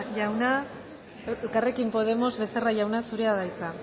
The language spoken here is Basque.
jauna elkarrekin podemos becerra jauna zurea da hitza